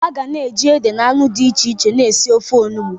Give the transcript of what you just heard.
A ga na-eji ede na anu di iche iche na esi ofe enugbe.